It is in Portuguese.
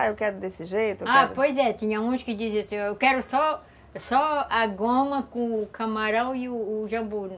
Ah, eu quero desse jeito... Ah, pois é, tinha uns que diziam assim, eu quero só só a goma com o camarão e e o jambuí.